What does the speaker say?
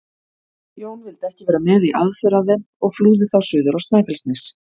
Jón vildi ekki vera með í aðför að þeim og flúði þá suður á Snæfellsnes.